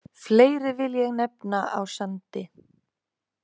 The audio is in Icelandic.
Fleiri vil ég nefna á Sandi.